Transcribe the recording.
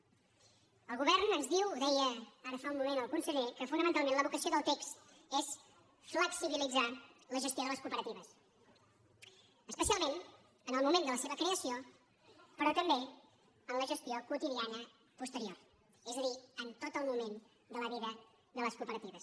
el govern ens diu ho deia ara fa un moment el conseller que fonamentalment la vocació del text és flexibilitzar la gestió de les cooperatives especialment en el moment de la seva creació però també en la gestió quotidiana posterior és a dir en tot el moment de la vida de les cooperatives